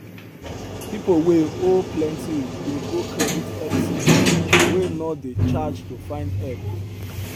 people wey owe plenty dey go credit help centre wey no dey charge to find help